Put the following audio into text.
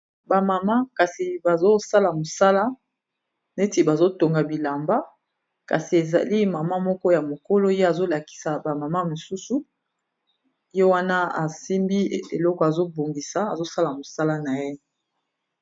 Ba mama kasi bazosala mosala neti bazotonga bilamba kasi ezali mama moko ya mokolo ye azolakisa bamama mosusu ye wana asimbi eloko azobongisa azosala mosala na ye